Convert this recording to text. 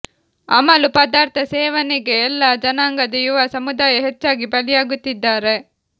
ಅಮಲು ಪದಾರ್ಥ ಸೇವನೆಗೆ ಎಲ್ಲಾ ಜನಾಂಗದ ಯುವ ಸಮುದಾಯ ಹೆಚ್ಚಾಗಿ ಬಲಿಯಾಗುತ್ತಿದ್ದಾರೆ